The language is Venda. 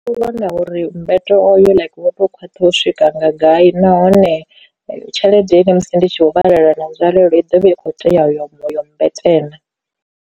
Ndi vhona uri mbeto oyo wo khwaṱha u swika nga gai nahone tshelede ine musi ndi tshi vho vhalela na nzwalelo i ḓovha i kho tea u yo yo mmbete na.